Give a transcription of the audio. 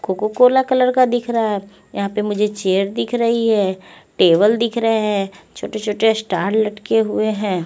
Cocoa Cola colour का दिख रहा है यहाँ पे मुझे चेयर दिख रही है टेबल दिख रही है छोटे-छोटे स्टार लटके हुए हैं।